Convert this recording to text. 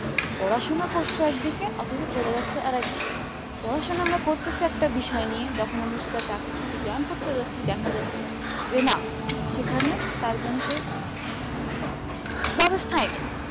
পড়াশোনা করসে একদিকে অথচ চলে যাচ্ছে আরেক দিকে পড়াশোনা আমরা করতেছি একটা বিষয় নিয়ে যখন আমরা সেটা চাকরিতে join করতে যাচ্ছি দেখা যাচ্ছে যে না সেখানে তার যেনো সে ব্যবস্থাই নেই